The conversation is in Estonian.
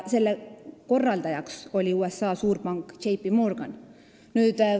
Selle korraldajaks oli USA suurpank J. P. Morgan.